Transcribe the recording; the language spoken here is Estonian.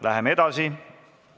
Läheme edasi.